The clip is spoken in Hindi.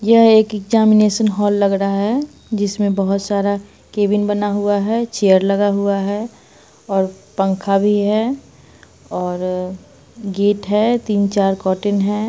यह एक एक्जामिनेशन हॉल लग रहा है जिसमे बोहोत सारा केबिन बना हुआ है चेयर लगा हुआ है और पंखा भी है और अ गेट है। तीन-चार कॉटन है।